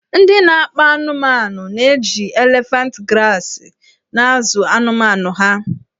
Ndị na-akpa anụmanụna-eji elefant grasị na-azụ anụmanụ ha.